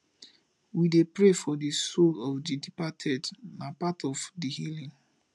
we dey pray for the soul of the departed na part of di healing